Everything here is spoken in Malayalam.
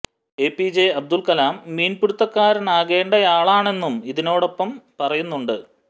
A P J Abdul Kalam മീന് പിടുത്തക്കാരനാകേണ്ടയാളാണെന്നും ഇതിനൊപ്പം പറയുന്നുണ്ട്